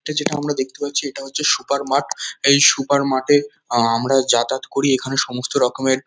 এটা যেটা আমরা দেখতে পাচ্ছি এটা হচ্ছে সুপার মার্ট এই সুপার মার্ট এ আমরা যাতায়াত করি এখানে সমস্ত রকমের--